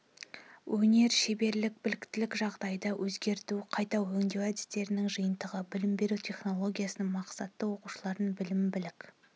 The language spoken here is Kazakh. өнер шеберлік біліктілік жағдайды өзгерту қайта өңдеу әдістерінің жиынтығы білім беру технологиясының мақсаты оқушылардың білім білік